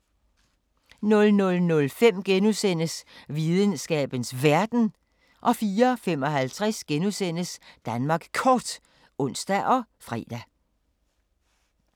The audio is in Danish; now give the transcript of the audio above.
00:05: Videnskabens Verden * 04:55: Danmark Kort *(ons og fre)